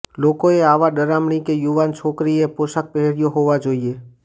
લોકોએ આવા ડરામણી કે યુવાન છોકરીએ પોશાક પહેર્યો હોવા જોઈએ